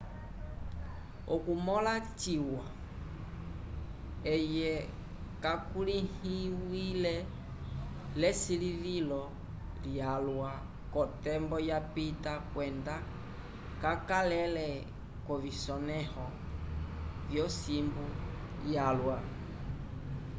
okumõla ciwa eye kakulĩhiwile l'esilivilo lyalwa k'otembo yapita kwenda kakalele k'ovisonẽho vyosimbu yalwa